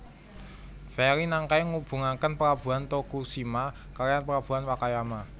Feri Nankai ngubungaken Pelabuhan Tokushima kalihan Pelabuhan Wakayama